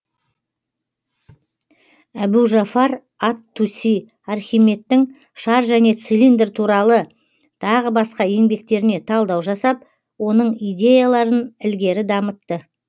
әбу жафар ат туси архимедтің шар және цилиндр туралы тағы басқа еңбектеріне талдау жасап оның идеяларын ілгері дамытты